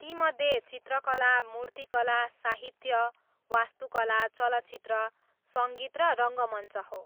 तीमध्ये चित्रकला, मूर्तिकला, साहित्य, वास्तुकला, चलचित्र, सङ्गीत र रङ्गमञ्च हो।